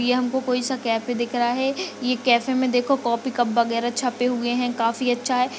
ये हमको कोई सा कैफ दिख रहा है। ये कैफे में देखो को कॉफी कप वगैरा छपे हुए हैं। काफी अच्छा है।